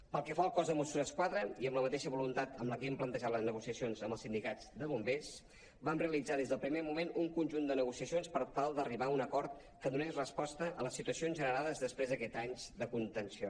pel que fa al cos de mossos d’esquadra i amb la mateixa voluntat amb la que hem plantejat les negociacions amb els sindicats de bombers vam realitzar des del primer moment un conjunt de negociacions per tal d’arribar a un acord que donés resposta a les situacions generades després d’aquests anys de contenció